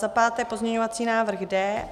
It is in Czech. Za páté pozměňovací návrh D.